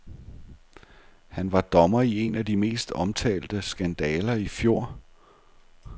Han var dommer i en af de mest omtalte skandaler i fjor.